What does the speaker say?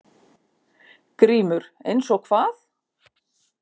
GRÍMUR: Eins og hvað?